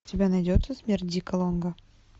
у тебя найдется смерть дика лонга